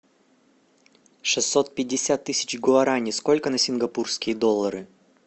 шестьсот пятьдесят тысяч гуарани сколько на сингапурские доллары